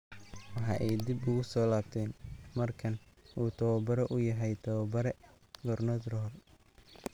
Waxa ay dib ugu soo laabteen markan oo uu tababare u yahay tababare Gernot Rohr.